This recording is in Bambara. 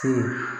Te